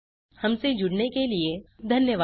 हमसे जुड़ने के लिए धन्यवाद